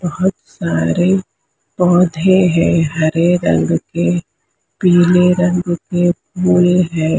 बहोत सारे पौधे है हरे रंग के पीले रंग के फूल हैं।